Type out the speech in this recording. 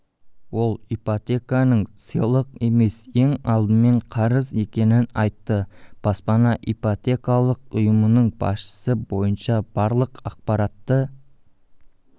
ол ипотеканың сыйлық емес ең алдымен қарыз екенін айтты баспана ипотекалық ұйымының басшысы бойынша барлық ақпаратты